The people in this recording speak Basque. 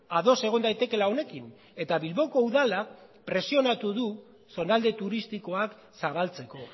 ados egon daitekeela honekin eta bilboko udala presionatu du zonalde turistikoak zabaltzeko